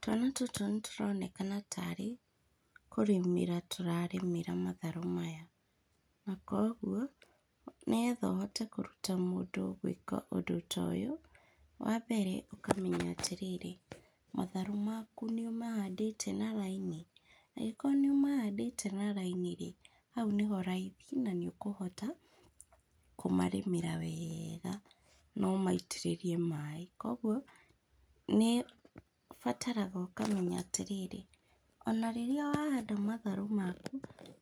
Twana tũtũ nĩtũronekana tarĩ, kũrĩmĩra tũrarĩmĩra matharũ maya, na koguo, nĩgetha ũhote kũruta mũndũ gwĩka ũndũ ta ũyũ, wambere ũkamenya atĩrĩrĩ, matharũ maku nĩũmahandĩte na raini, angĩkorwo nĩũmahandĩte na raini rĩ, hau nĩho raithi nanĩũkũhota kũmarĩmĩra wega, nomaitĩrĩrie maĩ, koguo nĩũbataraga ũkamenya atĩrĩrĩ, ona rĩrĩa wahanda matharũ maku,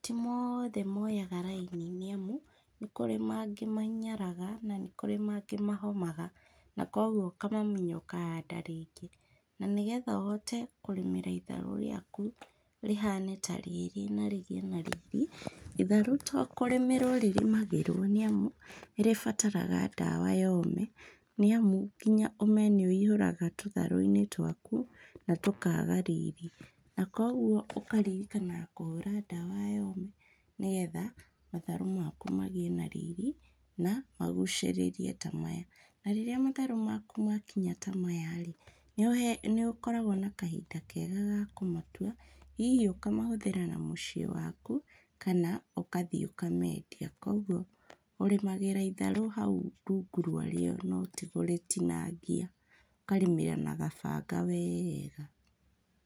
ti mothe moyaga raini nĩamu, nĩkũrĩ mangĩ mahinyaraga, na nĩkũrĩ mangĩ mahomaga, nakoguo ũkamamunya ũkahanda mangĩ, na nĩgetha ũhote kũrĩmĩra itharũ rĩaku rĩhane ta rĩrĩ na rĩgĩe na riri, itharũ to kũrĩmĩrwo rĩrĩmagĩrwo nĩamu, nĩrĩbataraga ndawa ya ũme, nĩamu nginya ũme nĩwũihũraga tũtharũ-inĩ twaku, na tũkaga riri, na koguo, ũkaririkanaga kũhũra ndawa ya ũme, nĩgetha matharũ maku magĩe na riri, na magucĩrĩrie ta maya, na rĩrĩa matharũ maku makinya ta maya rĩ, nĩũhe, nĩũkoragwo na kahinda kega ga kũmatua, hihi ũkamahũthĩra na mũciĩ waku, kana ũgathiĩ ũkamendia, koguo ũrĩmagĩra itharũ hau rungu rwa rĩo noti kũrĩtinangia, ũkarĩmĩra na gabanga wega.